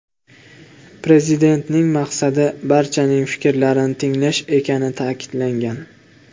Prezidentning maqsadi barchaning fikrlarini tinglash ekani ta’kidlangan.